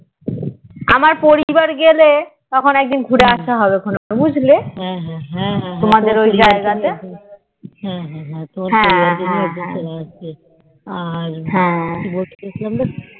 আমার পরিবার গেলে তখন একদিন ঘুরে আসা হবে বুঝলে তোমাদের ওই এইগ্রা হা হা হা হা